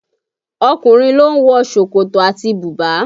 Ọkùnrin ló ń wọ ṣòkòtò àti bùbá